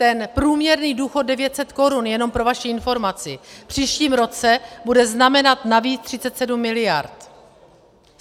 Ten průměrný důchod - 900 korun, jenom pro vaši informaci, v příštím roce bude znamenat navíc 37 miliard.